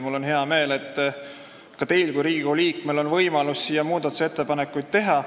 Mul on hea meel, et ka teil kui Riigikogu liikmel on võimalus muudatusettepanekuid teha.